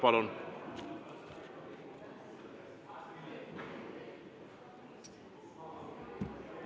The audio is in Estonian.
Palun!